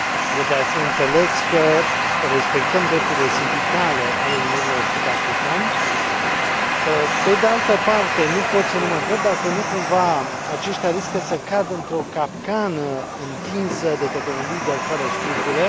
E de la sine înțeles că respectăm drepturile sindicale ale minerilor sud africani. Pe de altă parte, nu pot să nu mă întreb dacă nu cumva aceștia riscă să cadă într o capcană întinsă de către un lider fără scrupule.